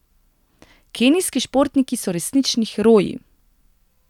Kenijski športniki so resnični heroji!